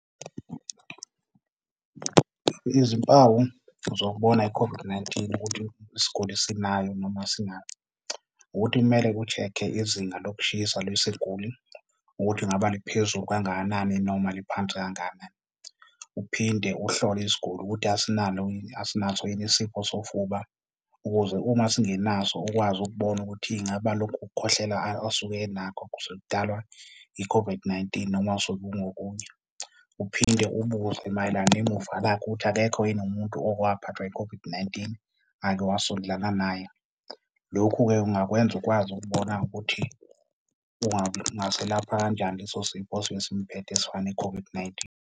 Izimpawu zokubona i-COVID-19 ukuthi isiguli isinayo noma asinayo, ukuthi kumele ku-check-e izinga lokushisa lwesiguli ukuthi ngaba liphezulu kangakanani noma liphansi kangakanani. Uphinde uhlole isiguli ukuthi asinalo yini, asinaso yini isifo sofuba ukuze uma singenaso ukwazi ukubona ukuthi ingaba lokhu kukhohlela asuke enakho kusuke kudalwa i-COVID-19 noma suke kungokunye. Uphinde ubuze mayelana nemuva lakhe ukuthi akekho yini umuntu oke waphathwa i-COVID-19 ake wasondelana naye. Lokhu-ke, ungakwenza ukwazi ukubona ukuthi ungaselapha kanjani leso sifo osuke simphethe esifana ne-COVID-19.